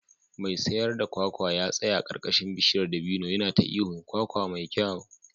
Mai sayar da kwakwa ya tsaya a karkashin bishiyar dabino yana ta ihun "kwakwa mai kyau"